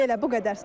Belə, bu qədər.